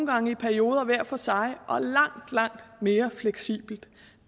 gange i perioder hver for sig og langt langt mere fleksibelt